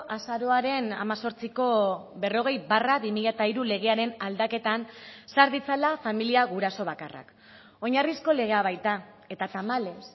azaroaren hemezortziko berrogei barra bi mila hiru legearen aldaketan sar ditzala familia guraso bakarrak oinarrizko legea baita eta tamalez